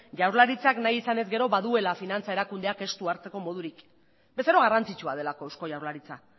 jaurlaritzak nahi izan ezkero baduela finantza erakundeak estu hartzeko modurik bezero garrantzitsua delako eusko jaurlaritza